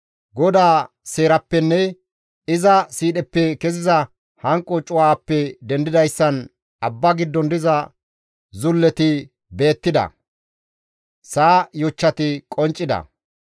GODAA seerappenne iza siidheppe keziza hanqo cuwaappe dendidayssan, abba giddon diza zulleti beettida; sa7a yochchati qonccida.